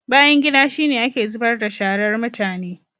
Bayangida shi ne ake zubar da sharar mutane.